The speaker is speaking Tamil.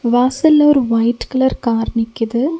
வாசல்ல ஒரு ஒயிட் கலர் கார் நிக்கிது.